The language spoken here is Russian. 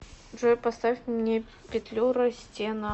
джой поставь мне петлюра стена